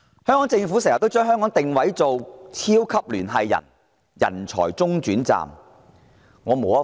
香港政府經常將香港定位為超級聯繫人，人才中轉站。